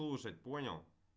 слушать понял